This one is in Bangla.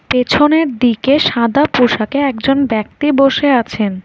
পেছনের দিকে সাদা পোশাকে একজন ব্যক্তি বসে আছেন।